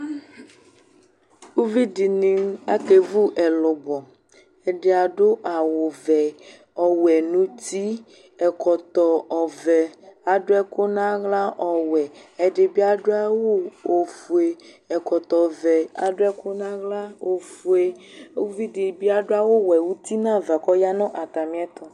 Uvidini akevu ɛlubɔ ɛdi adu awu vɛ ɔwɛ nu uti ɛkɔtɔ ɔvɛ adu ɛku nu aɣla ɔwɛ ɛdibi adu awu ofue ɛkɔtɔ vɛ adu ɛku nu aɣla ofue uvidibi adu awu ɔwɛ nu uti nava ku ɔya nu atamiɛtu